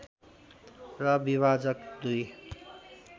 र विभाजक दुई